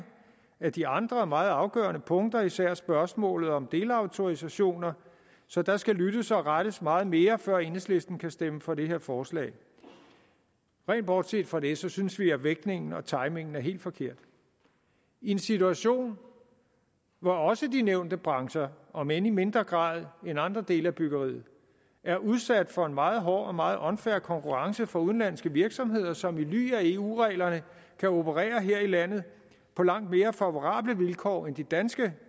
af de andre meget afgørende punkter især i spørgsmålet om delautorisationer så der skal lyttes og rettes meget mere før enhedslisten kan stemme for det her forslag rent bortset fra det synes vi at vægtningen og timingen er helt forkert i en situation hvor også de nævnte brancher om end i mindre grad end andre dele af byggeriet er udsat for en meget hård og en meget unfair konkurrence fra udenlandske virksomheder som i ly af eu reglerne kan operere her i landet på langt mere favorable vilkår end de danske